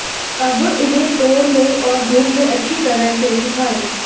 अब इन्हें तोड़ लें और धूप में अच्छी तरह से सूखाएं